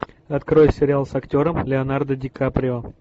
открой сериал с актером леонардо ди каприо